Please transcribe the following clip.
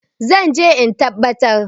zan je in tabbar ko?